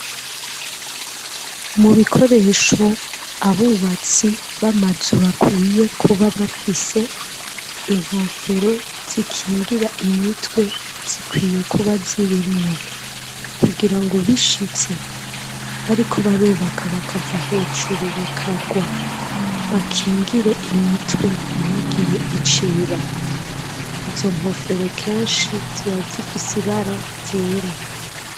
Mu bikoresho abubatsi b'amazu bakwiye kuba bafise inkofero zikingira imitwe zikwiye kuba zirimwo kugira ngo bishitse bariko barubaka bakava hejuru bakarwa bakingire imitwe ntigire ico iba izo nkofero kenshi ziba zifise ibara ryera